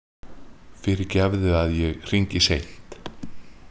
Fyrirgefðu að ég hringi seint.